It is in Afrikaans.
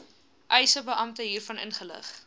eisebeampte hiervan inlig